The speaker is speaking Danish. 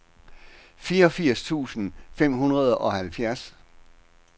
fireogfirs tusind fem hundrede og halvfjerds